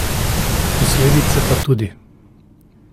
Posledice pa tudi.